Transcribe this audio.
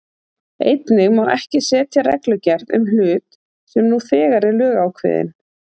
Einnig má ekki setja reglugerð um hlut sem nú þegar er lögákveðinn.